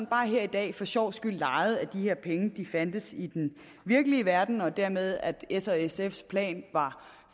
bare her i dag for sjovs skyld legede at de her penge fandtes i den virkelige verden og dermed at s og sf’s plan var